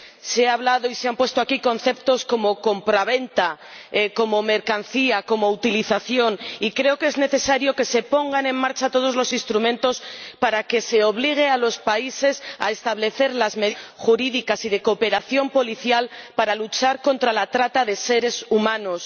Se ha hablado aquí de conceptos como compraventa, como mercancía como utilización, y creo que es necesario que se pongan en marcha todos los instrumentos para que se obligue a los países a establecer las medidas legislativas, jurídicas y de cooperación policial para luchar contra la trata de seres humanos.